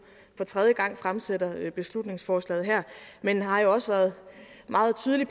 for tredje gang fremsætter beslutningsforslaget her men jeg har jo også været meget tydelig